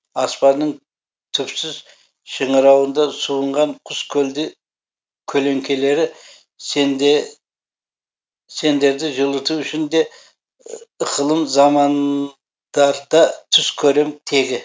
аспанның түпсіз шыңырауында суынған құс көлеңкелері сендерді жылыту үшін де ықылым заман дар да түс көрем тегі